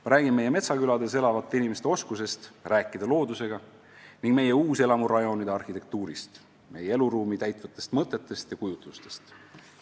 Ma räägin meie metsakülades elavate inimeste oskusest rääkida loodusega ning meie uuselamurajoonide arhitektuurist, meie eluruumi täitvatest mõtetest ja kujutlustest.